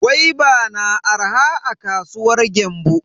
Gwaiba na arha a kasuwar Gembu.